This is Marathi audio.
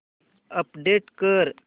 अपडेट कर